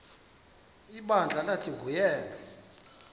ibandla lathi nguyena